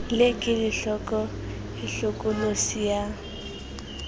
le kelohloko e hlokolosi ya